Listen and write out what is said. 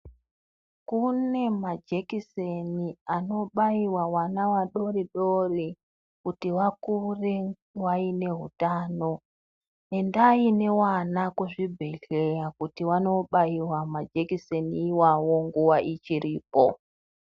Kune majekiseni anobaiwa vana vadoridori, kuti vakure vaine hutano. Endai nevana kuzvibhedhleya , kuti vanobaiwa majekiseni iwawo nguva ichiripo.